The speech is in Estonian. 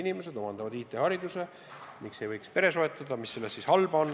Nad omandavad siin IT-hariduse, miks nad ei võiks siin pere soetada – mis selles siis halba on.